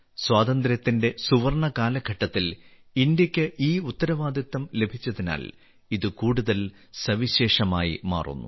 സ്വാതന്ത്ര്യത്തിന്റെ സുവർണ കാലഘട്ടത്തിൽ ഇന്ത്യക്ക് ഈ ഉത്തരവാദിത്തം ലഭിച്ചതിനാൽ ഇത് കൂടുതൽ സവിശേഷമായി മാറുന്നു